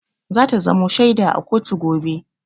Za ta zamo shaida a kotu gobe.